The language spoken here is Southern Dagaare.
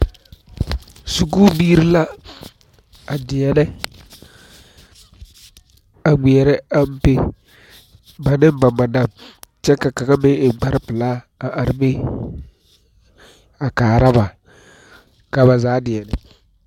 Sikubiiri la a deɛnɛ a ŋmeɛrɛ ampe ba ne ba madam kyɛ ka kaŋa meŋ eŋ kparepelaa are be a kaara ba ka ba zaa deɛnɛ.